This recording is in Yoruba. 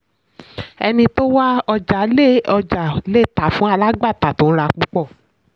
ẹni tó wá ọjà le ọjà le tà fún alágbàtà tó n ra púpọ̀.